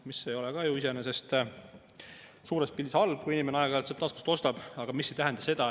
Needsamad Soome läinud inimesed, et nad lähevad kellaajaks tööle ja teevad oma töötunnid ära, nad tunnevad, et sotsiaalsüsteem toetab neid ja tööandjal on neid vaja.